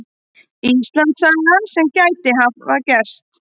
Íslandssagan sem gæti hafa gerst.